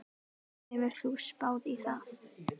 Hefur þú spáð í það?